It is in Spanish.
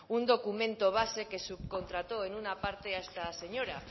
un documento base que subcontrató en una parte a esta señora